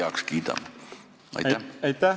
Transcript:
Aitäh!